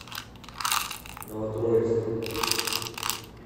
новотроицком